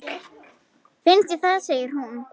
Finnst þér það, segir hún.